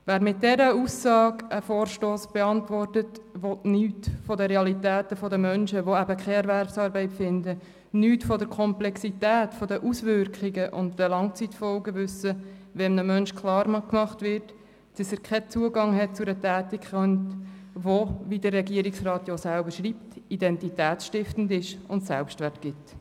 Wer mit dieser Aussage einen Vorstoss beantwortet, will nichts von den Realitäten der Menschen wissen, die eben keine Erwerbsarbeit finden, nichts von der Komplexität, von den Auswirkungen und den Langzeitfolgen wissen, wenn einem Menschen klargemacht wird, dass er keinen Zugang zu einer Tätigkeit hat, die – wie der Regierungsrat ja selber schreibt – identitätsstiftend ist und Selbstwert gibt.